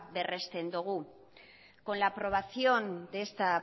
berresten dugu con la aprobación de esta